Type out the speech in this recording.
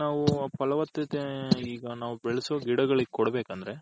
ನಾವು ಪಳವತ್ಹತೆ ಈಗ ನಾವು ಬೆಳ್ಸೋ ಗಿಡಗಲಿಗ್ ಕೊಡ್ಬೇಕಂದ್ರೆ .